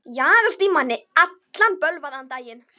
Jagast í manni alla daga.